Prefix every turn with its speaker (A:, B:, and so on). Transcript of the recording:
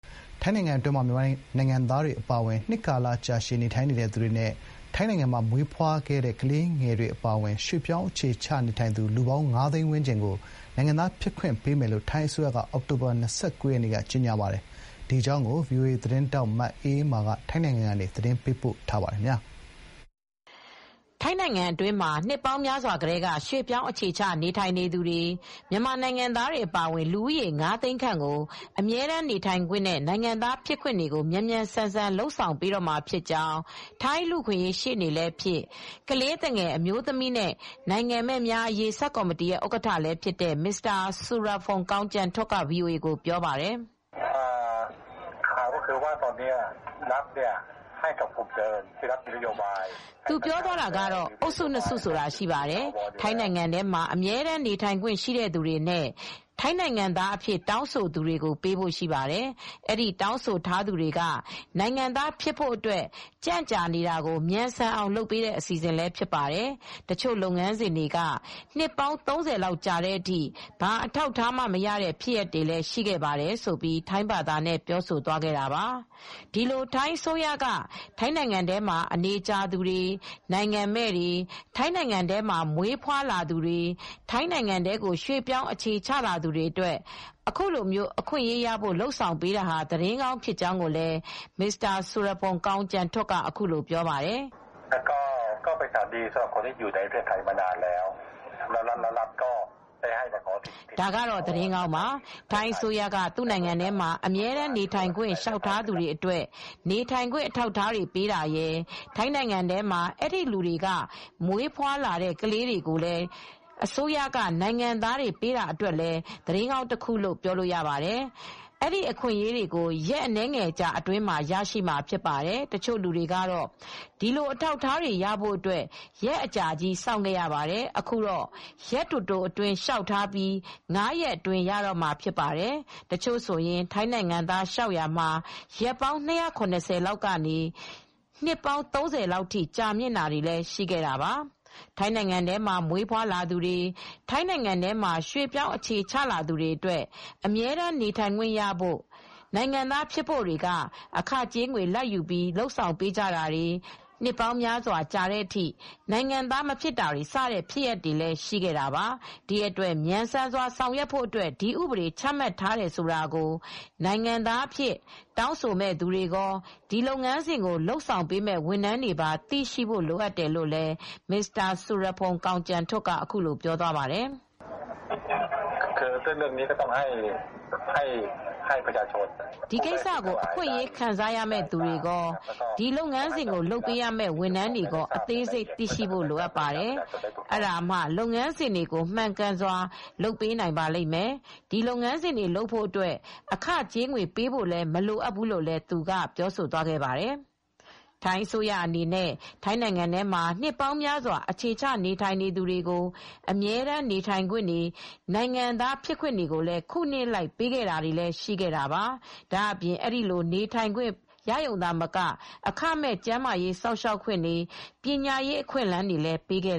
A: ထိုင်းနိုင်ငံအတွင်းမှာ မြန်မာနိုင်ငံသားတွေအပါအဝင် အနေကြာနေထိုင်နေသူတွေနဲ့ ထိုင်းနိုင်ငံမှာ မွေးဖွားတဲ့ကလေးတွေအပါအဝင် ရွှေ့ပြောင်းအခြေချနေထိုင်သူ လူဦးရေ ၅ သိန်းခန့်ကို နိုင်ငံသား ဖြစ်ခွင့်ပေးမယ်လို့ ထိုင်းအစိုးရကအောက်တိုဘာလ ၂၉ ရက်နေ့မှာ ကြေညာခဲ့ပါတယ်။ ဒီသတင်းကို ဗွီအိုအေသတင်းထောက် မအေးအေးမာကသတင်းပေးပို့ထားပါတယ်။ ထိုင်းနိုင်ငံအတွင်းမှာ နှစ်ပေါင်းများစွာကတည်းက ရွှေ့ပြောင်းအခြေချနေထိုင်နေသူ မြန်မာနိုင်ငံသား တွေအပါအဝင်လူဦးရေ ၅ သိန်းခန့်ကို အမြဲတမ်းနေထိုင်ခွင့်နဲ့ နိုင်ငံသားဖြစ်ခွင့်တွေကို မြန်မြန်ဆန်ဆန် လုပ်ဆောင်ပေးတော့မှာဖြစ်ကြောင်း ထိုင်းလူ့အခွင့်အရေးရှေ့နေလည်းဖြစ်၊ ကလေးသူငယ် အမျိုးသမီးနဲ့ နိုင်ငံမဲ့များအရေး ဆပ်ကော်မတီဥက္ကဋ္ဌလည်းဖြစ်တဲ့ Mr Surapong kongchantuk က VOAကိုပြောပါတယ်။ “သူပြောသွားတာက အုပ်စု ၂ အုပ်စုဆိုတာရှိတယ်။ ထိုင်းနိုင်ငံမှာ အမြဲတမ်းနေထိုင်ခွင့်ရှိတဲ့သူတွေနဲ့ ထိုင်းနိုင်ငံသားအဖြစ် တောင်းဆိုသူတွေကိုပေးဖို့ရှိပါတယ်။ အဲဒီတောင်းဆိုထားသူတွေက နိုင်ငံသား ဖြစ်ဖို့အတွက် ကြန့်ကြာနေတာကို မြန်ဆန်အောင်လုပ်ပေးတဲ့ အစီအစဉ်လည်းဖြစ်ပါတယ်။ တချို့ လုပ်ငန်းစဉ်တွေက နှစ် ၃၀ လောက်ကြာတဲ့အထိ ဘာအထောက်အထားမှ မရတဲ့ဖြစ်ရပ်တွေလည်း ရှိခဲ့တယ်။” ဒီလို ထိုင်းအစိုးရက ထိုင်းနိုင်ငံမှာအနေကြာသူတွေ၊ နိုင်ငံမဲ့တွေ၊ ထိုင်းနိုင်ငံမှာမွေးဖွားသူတွေနဲ့ ထိုင်းနိုင်ငံထဲကိုရွှေ့ပြောင်းအခြေချလာသူတွေအတွက် အခုလိုမျိုး အခွင့်ရေးတွေရဖို့ လုပ်ဆောင်ပေးတာဟာ သတင်းကောင်းဖြစ်ကြောင်း Mr Surapong kongchantuk က အခုလိုပြောပါတယ်။ “ဒါက သတင်းကောင်းပါ။ ထိုင်းအစိုးရက သူ့နိုင်ငံထဲမှာ အမြဲတမ်းနေထိုင်ခွင့် လျှောက်ထားသူတွေ အတွက် နေထိုင်ခွင့်အထောက်အထားတွေပေးတာရယ်၊ ထိုင်းနိုင်ငံထဲမှာ အဲဒီလူတွေက မွေးဖွားလာတဲ့ ကလေးတွေကိုလည်း အစိုးရက နိုင်ငံသားပေးတာတွေအတွက် သတင်းကောင်းတခုလို့ ပြောလို့ ရပါ တယ်။ အဲဒီအခွင့်ရေးတွေကို ရက်အနည်းငယ်အတွင်းမှာ ရရှိမှာဖြစ်ပါတယ်။ တချို့လူတွေ ကတော့ ဒီလိုအထောက်အထားတွေရဖို့ ရက်ကြာကြာကြီးစောင့်ခဲ့ရတယ်။အခုကတော့ ရက်တိုတိုအတွင်း လျှောက်ထားပြီး ၅ ရက်အတွင်း ရတော့မှာဖြစ်ပါတယ်။ တချို့ဆိုရင် ထိုင်းနိုင်ငံသား လျှောက်ရာမှာ ရက်ပေါင်း ၂၇၀ လောက်ကနေ နှစ်ပေါင်း ၃၀ လောက်ထိ ကြာမြင့်တာတွေလည်း ရှိခဲ့တာပါ။” ထိုင်းနိုင်ငံထဲမှာမွေးဖွားသူတွေ၊ ထိုင်းနိုင်ငံထဲမှာရွှေ့ပြောင်းအခြေချသူတွေအတွက် အမြဲတမ်း နေထိုင်ခွင့်ရဖို့နဲ့နိုင်ငံသားဖြစ်ဖို့တွေက အခငွေကြေးလာဘ်ယူပြီး လုပ်ဆောင်ပေးကြတာတွေ နှစ်ပေါင်းများစွာကြာတဲ့အထိ နိုင်ငံသားမဖြစ်တာတွေစတဲ့ ဖြစ်ရပ်တွေလည်းရှိခဲ့တာပါ။ ဒီအတွက် မြန်ဆန်စွာဆောင်ရွက်ဖို့ ဒီဥပဒေချမှတ်ထားတယ်ဆိုတာကိုနိုင်ငံသားအဖြစ် တောင်းဆိုမယ့်သူတွေ ကော ဒီလုပ်ငန်းစဉ်ကိုလုပ်ဆောင်ပေးမယ့်သူတွေပါ သိဖို့လိုတယ်လို့လည်း Mr Surapong kongchantuk က အခုလိုပြောသွားပါတယ်။ “ဒီကိစ္စကို အခွင့်အရေးခံစားရမယ့်သူတွေကော၊ ဒီလုပ်ငန်းစဉ်ကိုလုပ်ပေးရမယ့် ဝန်ထမ်းတွေကော အသေးစိတ်သိရှိဖို့ လိုပါတယ်။ အဲဒါမှ ဒီလုပ်ငန်းစဉ်တွေကို မှန်ကန်စွာလုပ်ပေးနိုင်ပါလိမ့်မယ်။ ဒီလုပ်ငန်းစဉ်တွေလုပ်ဖို့အတွက် အခကြေးငွေပေးဖို့ မလိုအပ်ဘူးလို့လည်းပြောသွားပါတယ်။” ထိုင်းအစိုးရအနေနဲ့ ထိုင်းနိုင်ငံမှာ နှစ်ပေါင်းများစွာအခြေချနေထိုင်သူတွေကို အမြဲတမ်းနေထိုင်ခွင့်တွေ၊ နိုင်ငံသားဖြစ်ခွင့်တွေလည်း ခုနှစ်အလိုက် ပေးတာတွေလည်းရှိခဲ့တာပါ။ ဒါ့အပြင် အဲဒီလိုနေထိုင်ခွင့် ရရုံသာမက အခမဲ့ ကျန်းမာရေးစောင့်ရှောက်ခွင့်တွေ ပညာရေးအခွင့်အလမ်းတွေလည်း ပေးခဲ့